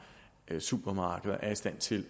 supermarkeder er i stand til